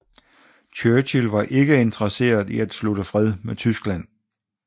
Churchill var ikke interesseret i at slutte fred med Tyskland